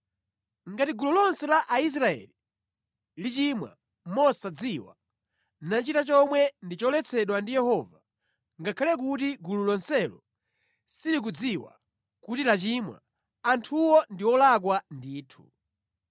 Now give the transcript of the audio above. “ ‘Ngati gulu lonse la Aisraeli lichimwa mosadziwa, nachita chomwe ndi choletsedwa ndi Yehova, ngakhale kuti gulu lonselo silikudziwa kuti lachimwa, anthuwo ndi olakwa ndithu.